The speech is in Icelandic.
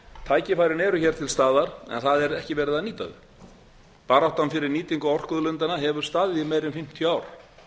tækifærin eru til staðar en það er ekki verið að nýta þau baráttan fyrir nýtingu orkuauðlindanna hefur staðið í meira en fimmtíu ár